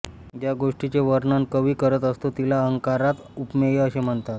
ज्या गोष्टीचे वर्णन कवी करत असतो तिला अलंकारात उपमेय असे म्हणतात